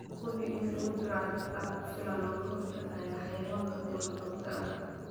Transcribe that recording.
Hubi inuu jiro difaac ku filan oo ka hortagga xayawaanka duurjoogta ah.